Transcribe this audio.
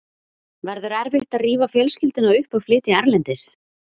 Verður erfitt að rífa fjölskylduna upp og flytja erlendis?